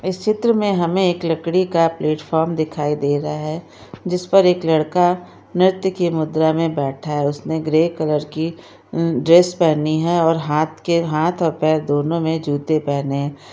इस चित्र में हमें एक लकड़ी का प्लेटफार्म दिखाई दे रहा है जिस पर एक लड़का नेत्र की मुद्रा में बैठा हुआ है उसने ग्रे कलर की अ ड्रेस पहनी है और हाथ के हाथ और पैर दोनों में जूते पहने हैं।